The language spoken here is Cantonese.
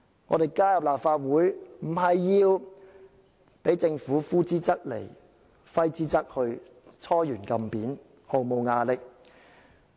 我們加入立法會，不是要被政府呼之則來，揮之則去，"搓圓按扁"，毫無牙力。